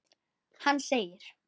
Hann sagði.